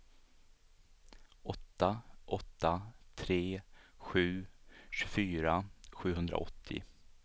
åtta åtta tre sju tjugofyra sjuhundraåttio